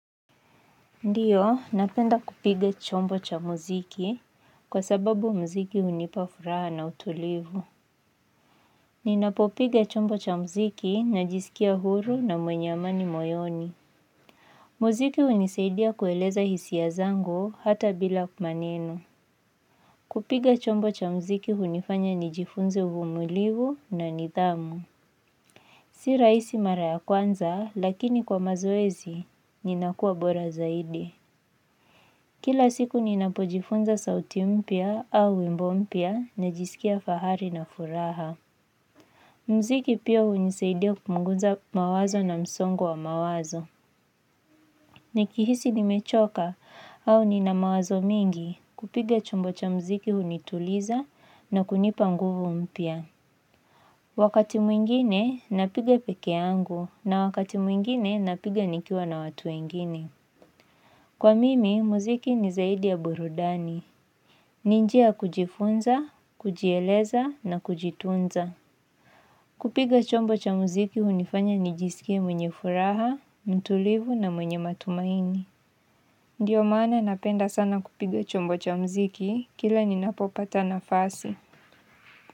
Ndiyo, napenda kupiga chombo cha muziki kwa sababu muziki unipa furaha na utulivu. Ninapopiga chombo cha muziki najisikia huru na mwenye amani moyoni. Muziki unisaidia kueleza hisia zangu hata bila maneno. Kupiga chombo cha muziki hunifanya nijifunze uvumulivu na nidhamu. Si rahisi mara ya kwanza, lakini kwa mazoezi, ninakua bora zaidi. Kila siku ninapojifunza sauti mpya au wimbo mpya najisikia fahari na furaha. Mziki pia hunisaidia kupunguza mawazo na msongo wa mawazo. Nikihisi nimechoka au ninamawazo mingi kupiga chombo cha mziki hunituliza na kunipa nguvu mpya. Wakati mwingine napiga peke yangu na wakati mwingine napiga nikiwa na watu wengine. Kwa mimi, muziki ni zaidi ya burudani. Ni njia kujifunza, kujieleza na kujitunza. Kupiga chombo cha muziki hunifanya nijisikie mwenye furaha, mtulivu na mwenye matumaini. Ndiyo maana napenda sana kupiga chombo cha muziki, kila ninapopata nafasi.